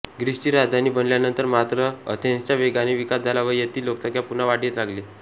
ग्रीसची राजधानी बनल्यानंतर मात्र अथेन्सचा वेगाने विकास झाला व येथील लोकसंख्या पुन्हा वाढीस लागली